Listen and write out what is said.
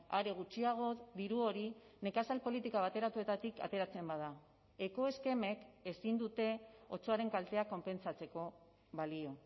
are gutxiago diru hori nekazal politika bateratuetatik ateratzen bada ekoeskemek ezin dute otsoaren kalteak konpentsatzeko balio